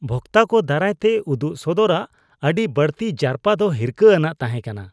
ᱵᱷᱚᱠᱛᱟ ᱠᱚ ᱫᱟᱨᱟᱭ ᱛᱮ ᱩᱫᱩᱜ ᱥᱚᱫᱚᱨᱟᱜ ᱟᱹᱰᱤ ᱵᱟᱹᱲᱛᱤ ᱡᱟᱨᱯᱟ ᱫᱚ ᱦᱤᱨᱠᱟᱹ ᱟᱱᱟᱜ ᱛᱟᱦᱮᱸ ᱠᱟᱱᱟ ᱾